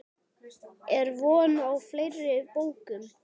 Er von á fleiri bókum?